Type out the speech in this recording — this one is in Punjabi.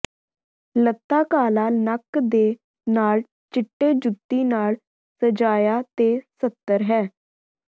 ਲਤ੍ਤਾ ਕਾਲਾ ਨੱਕ ਦੇ ਨਾਲ ਚਿੱਟੇ ਜੁੱਤੀ ਨਾਲ ਸਜਾਇਆ ਤੇ ਸਤਰ ਹੈ